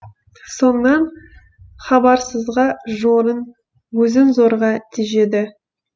соңынан хабарсызға жорын өзін зорға тежеді